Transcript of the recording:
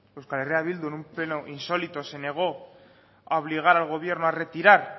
euskal herria bildu en un pleno insólito se negó a obligar al gobierno a retirar